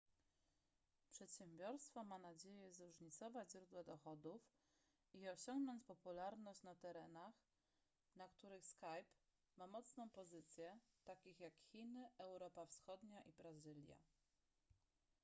przedsiębiorstwo ma nadzieję zróżnicować źródła dochodów i osiągnąć popularność na terenach na których skype ma mocną pozycję takich jak chiny europa wschodnia i brazylia